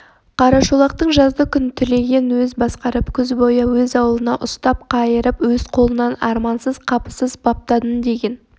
қарашолақтың жазды күн түлегін өз басқарып күз бойы өз ауылында ұстап қайырып өз қолынан армансыз қапысыз баптадым деген